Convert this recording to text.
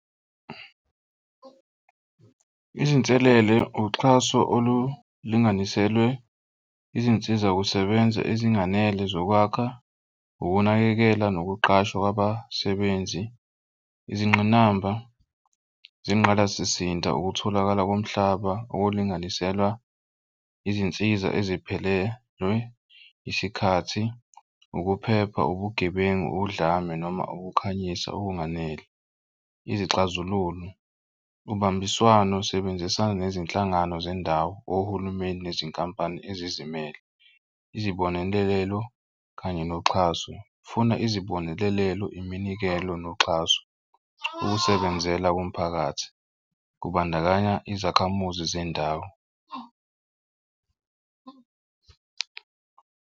Izinselele uxhaso olulinganiselwe izinsiza kusebenza ezinganele zokwakha, ukunakekela nokuqashwa kwabasebenzi izingqinamba zengqalasizinda, ukutholakala komhlaba okulinganiselwa, izinsiza eziphelelwe isikhathi, ukuphepha ubugebengu udlame noma ukukhanyisa okunganele. Izixazululo ubambiswano sebenzisana nezinhlangano zendawo ohulumeni nezinkampani ezizimele, izibonelelo kanye noxhaso. Funa izibonelelo iminikelo noxhaso. Ukusebenzelana komphakathi kubandakanya izakhamuzi zendawo.